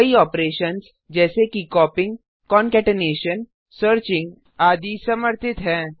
कई ऑपरेशन्स जैसे कि कॉपीइंग कंकेटेनेशन सर्चिंग आदि समर्थित हैं